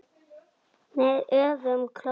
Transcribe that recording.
Með öfugum klónum.